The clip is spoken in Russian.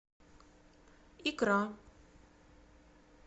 икра